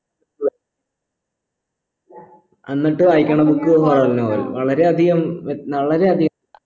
എന്നിട്ട് വായിക്കണ book horror novel വളരെ അധികം വ്യ വളരെ അധികം